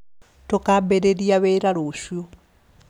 Tũkambĩriĩria wĩra rũciũ